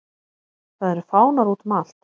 Það eru fánar útum allt.